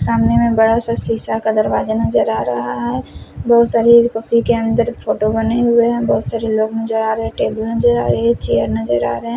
सामने में बड़ा सा शीशा का दरवाजा नजर आ रहा है बहुत सारे के अंदर फोटो बने हुए हैं बहुत सारे लोग नजर आ रहे हैं टेबल नजर आ रहे हैं चेयर नजर आ रहे हैं।